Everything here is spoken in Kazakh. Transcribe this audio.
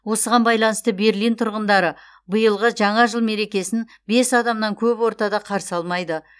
осыған байланысты берлин тұрғындары биылғы жаңа жыл мерекесін бес адамнан көп ортада қарсы алмайды